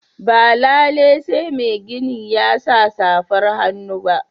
Ba lalai sai magini ya sa safar hannu ba.